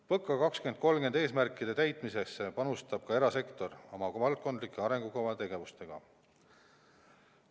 PõKa 2030 eesmärkide täitmisesse panustab ka erasektor oma valdkondlike arengukavade tegevustega.